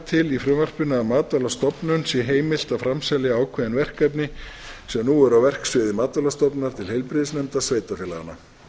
til í frumvarpinu að matvælastofnun sé heimilt að framselja ákveðin verkefni sem nú eru á verksviði matvælastofnunar til heilbrigðisnefnda sveitarfélaganna